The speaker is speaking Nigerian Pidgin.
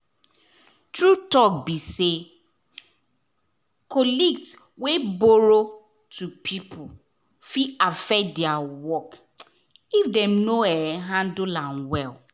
true talk be be say colleagues wey borrow to people fit affect their work if dem no um handle am well